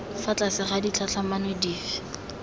fa tlase ga ditlhatlhamano dife